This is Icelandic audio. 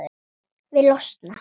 Vil losna.